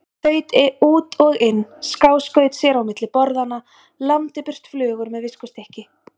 Þaut út og inn, skáskaut sér á milli borðanna, lamdi burt flugur með viskustykki.